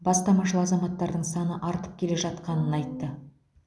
бастамашыл азаматтардың саны артып келе жатқанын айтты